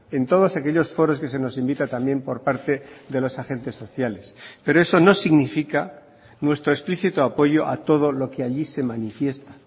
en todos aquellos foros que se nos invita también por parte de los agentes sociales pero eso no significa nuestro explícito apoyo a todo lo que allí se manifiesta